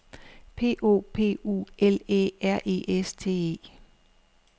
P O P U L Æ R E S T E